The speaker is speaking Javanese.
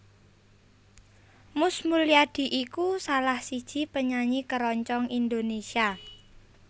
Mus Mulyadi iku salah siji penyanyi keroncong Indonésia